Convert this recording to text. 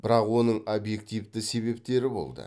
бірақ оның объективті себептері болды